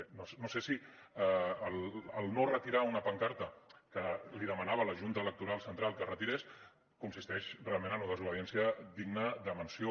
bé no sé si el no retirar una pancarta que li demanava la junta electoral central que retirés consisteix realment en una desobediència digna de menció